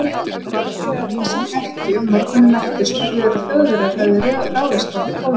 Þegar farþegar risu úr rekkju morguninn eftir, spurðu þeir, að Þjóðverjar hefðu ráðist á Pólland.